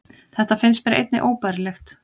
Þetta finnst mér einnig óbærilegt